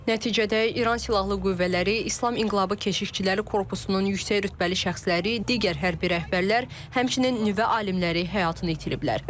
Nəticədə İran silahlı qüvvələri, İslam İnqilabı Keşikçiləri Korpusunun yüksək rütbəli şəxsləri, digər hərbi rəhbərlər, həmçinin nüvə alimləri həyatını itiriblər.